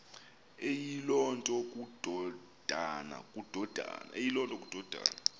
eyiloo nto kukodana